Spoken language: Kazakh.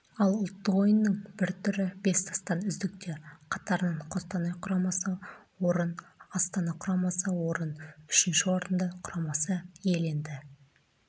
ал ұлттық ойынның бір түрі бес тастан үздіктер қатарынан қостанай құрамасы орын астана құрамасы орын үшінші орынды құрамасы иеленді